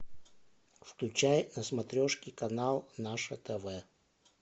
включай на смотрешке канал наше тв